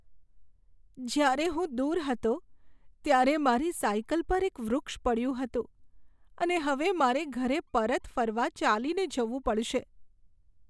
જ્યારે હું દૂર હતો ત્યારે મારી સાઇકલ પર એક વૃક્ષ પડ્યું હતું અને હવે મારે ઘરે પરત ફરવા ચાલીને જવું પડશે.